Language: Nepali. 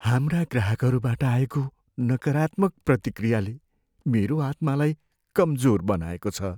हाम्रा ग्राहकहरूबाट आएको नकारात्मक प्रतिक्रियाले मेरो आत्मालाई कमजोर बनाएको छ।